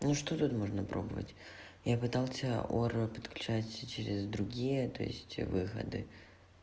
ну что тут можно пробовать я пытался ора подключать через другие то есть выходы